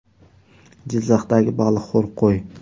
Jizzaxdagi baliqxo‘r qo‘y.